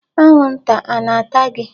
Anwụnta a na-ata gị?